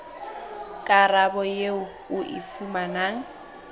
karabo eo o e fumanang